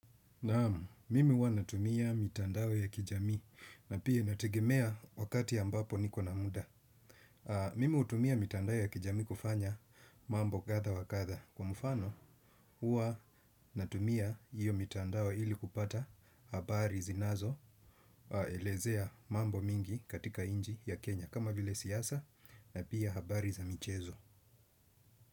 Naam, mimi huwa natumia mitandao ya kijamii na pia inategemea wakati ambapo niko na muda. Mimi hutumia mitandao ya kijamii kufanya mambo kadha wa kadha kwa mfano huwa natumia hiyo mitandao ili kupata habari zinazo elezea mambo mingi katika nchi ya Kenya kama vile siasa na pia habari za michezo.